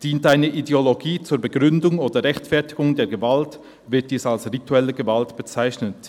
Dient eine Ideologie zur Begründung oder Rechtfertigung der Gewalt, wird dies als rituelle Gewalt bezeichnet.